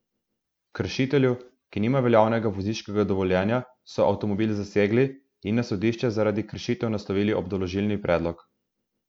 Kršitelju, ki nima veljavnega vozniškega dovoljenja, so avtomobil zasegli in na sodišče zaradi kršitev naslovili obdolžilni predlog.